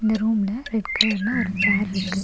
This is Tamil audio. ரூம்ல ரெட் கலர்ல ஒரு சேர்ருக்கு .